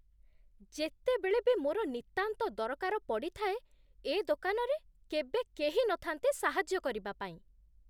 ଯେତେବେଳେ ବି ମୋର ନିତାନ୍ତ ଦରକାର ପଡ଼ିଥାଏ, ଏ ଦୋକାନରେ କେବେ କେହି ନଥାନ୍ତି ସାହାଯ୍ୟ କରିବା ପାଇଁ।